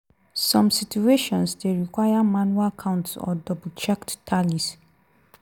some situations dey require manual counts or double-checked tallies.